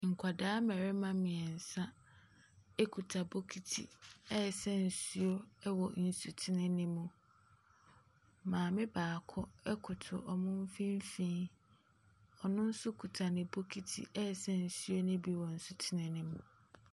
Nkwadaa mmarima mmeɛnsa kuta bokiti resa nsuo wɔ nsutene no mu. Maame baako koto wɔn mfimfini. Ɔno nso kita ne bokiti resa nsuo no bi wɔ nsutene no mu.